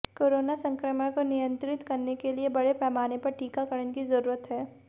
corona संक्रमण को नियंत्रित करने के लिए बड़े पैमाने पर टीकाकरण की जरूरत है